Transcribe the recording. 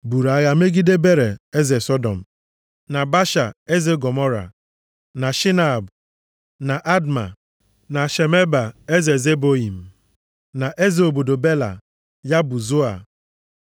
buru agha megide Bera eze Sọdọm, na Biasha eze Gọmọra, na Shịnab, eze Adma, na Shemeba eze Zeboiim, na eze obodo Bela (ya bụ Zoa).